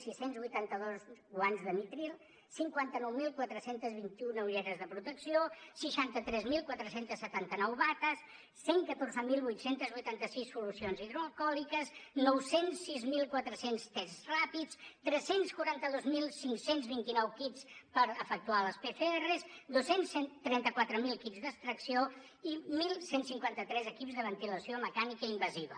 sis cents i vuitanta dos guants de nitril el cinquanta nou mil quatre cents i vint un ulleres de protecció seixanta tres mil quatre cents i setanta nou bates cent i catorze mil vuit cents i vuitanta sis solucions hidroalcohòliques nou cents i sis mil quatre cents tests ràpids tres cents i quaranta dos mil cinc cents i vint nou kits per efectuar les pcr dos cents i trenta quatre mil d’extracció i onze cinquanta tres equips de ventilació mecànica invasiva